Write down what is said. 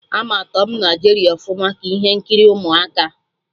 Ama Tọm na Jeri ọfụma, ka ihe nkiri ụmụaka